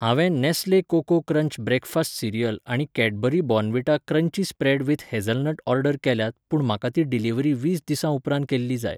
हांवें Nestle cocoa crunch breakfast cereal आनी Cadbury Bournvita crunchy spread with hazelnut order केल्यात पूण म्हाका ती डिलिव्हरी वीस दिसा उपरांत केल्ली जाय.